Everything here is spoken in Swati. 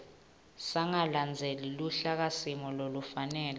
sangalandzeli luhlakasimo lolufanele